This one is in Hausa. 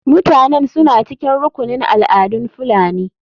Mutanen suna cikin rukunin al'adun fulani.